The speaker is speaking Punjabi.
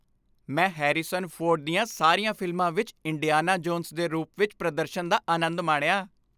ਮੈਂ ਹੈਰੀਸਨ ਫੋਰਡ ਦੀਆਂ ਸਾਰੀਆਂ ਫ਼ਿਲਮਾਂ ਵਿੱਚ ਇੰਡੀਆਨਾ ਜੋਨਸ ਦੇ ਰੂਪ ਵਿੱਚ ਪ੍ਰਦਰਸ਼ਨ ਦਾ ਆਨੰਦ ਮਾਣਿਆ।